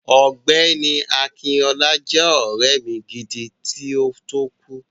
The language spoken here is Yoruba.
Ọ̀gbẹ́ni Akinọlá jẹ́ ọ̀rẹ́ mi gidi, kí ó tó kú.